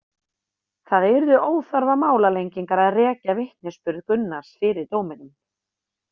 Það yrðu óþarfa málalengingar að rekja vitnisburði Gunnars fyrir dóminum.